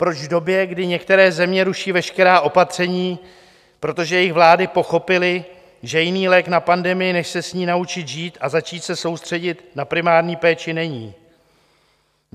Proč v době, kdy některé země ruší veškerá opatření, protože jejich vlády pochopily, že jiný lék na pandemie než se s ní naučit žít a začít se soustředit na primární péči není.